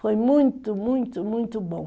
Foi muito, muito, muito bom.